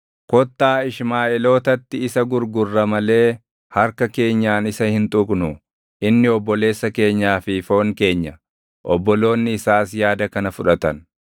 Kottaa Ishmaaʼeelootatti isa gurgurra malee harka keenyaan isa hin tuqnuu; inni obboleessa keenyaa fi foon keenya.” Obboloonni isaas yaada kana fudhatan.